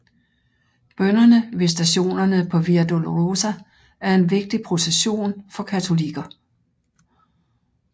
Bønnerne ved stationerne på Via Dolorosa er en vigtig procession for katolikker